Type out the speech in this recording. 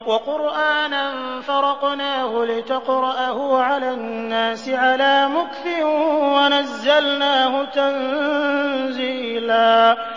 وَقُرْآنًا فَرَقْنَاهُ لِتَقْرَأَهُ عَلَى النَّاسِ عَلَىٰ مُكْثٍ وَنَزَّلْنَاهُ تَنزِيلًا